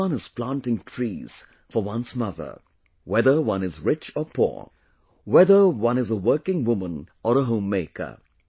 Everyone is planting trees for one’s mother – whether one is rich or poor, whether one is a working woman or a homemaker